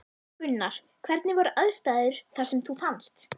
Gunnar: Hvernig voru aðstæður þar sem hún fannst?